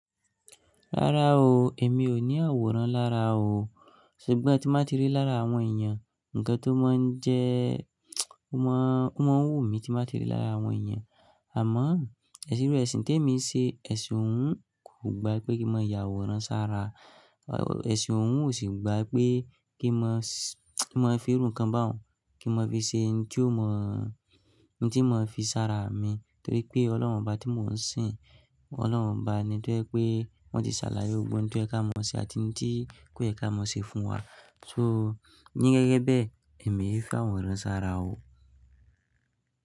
Rárá o, èmi ò ní àwòrán lára o. Ṣùgbọ́n tí ma ti rí lára àwọn èèyàn, ǹkan tó máa ń jẹ́, ó máa ń wù mí tí n ba ti rí lára àwọn èèyàn. Àmọ́ ẹ̀sìn iru ẹ̀sìn tèmi n ṣe, ẹ̀sìn òun kò gbá pé kí n mọ yàwòrán sára. Ẹ̀sìn òun kò sì gbá pé kí n mọ ki n mọ fi irun kan báun kí n mọ fi ṣe n tí ó mọ̀, n tí mọ fi sára mi. Nítorí pé Ọlọ́run ọba tí mò ń sìn, Ọlọ́run ọba ni tó jẹ́ pé wọ́n ti ṣàlàyé gbogbo to yẹ ká mọ ṣe àti ohun tí kò yẹ ká mọ ṣe fún wa. So, ní gẹ́gẹ́ bẹ èmi e fi àwòrán sára o.